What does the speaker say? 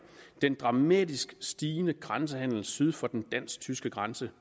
den dramatisk stigende grænsehandel syd for den dansk tyske grænse